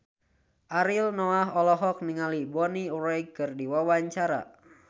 Ariel Noah olohok ningali Bonnie Wright keur diwawancara